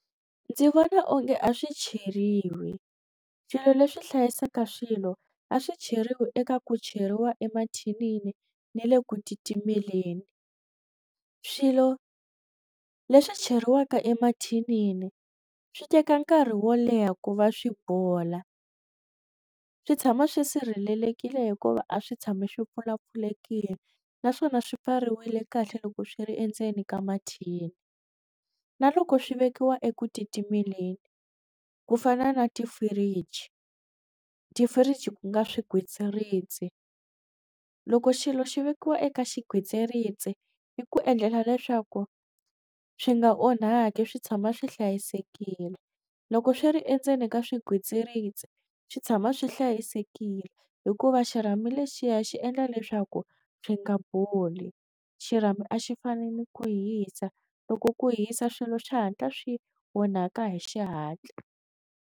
Ndzi vona onge a swi cheriwi swilo leswi hlayisaka swilo a swi cheriwi eka ku cheriwa emathinini ni le ku titimeleni swilo leswi cheriwaka emathinini swi teka nkarhi wo leha ku va swi bola swi tshama swi sirhelelekile hikuva a swi tshami swi pfulapfulekile naswona swi pfariwile kahle loko swi ri endzeni ka mathini na loko swi vekiwa ekutimeleni ku fana na ti-fridge, ti-fridge ku nga swigwitsirisi loko xilo xi vekiwa eka xigwitsirisi i ku endlela leswaku swi nga onhaki swi tshama swi hlayisekile loko swi ri endzeni ka swigwitsirisi swi tshama swi hlayisekile hikuva xirhami lexiya xi endla leswaku swi nga boli xirhami a xi fani ni ku hisa loko ku hisa swilo xihatla swi onhaka hi xihatla.